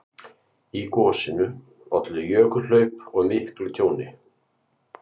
Í gosinu olli jökulhlaup og miklu tjóni.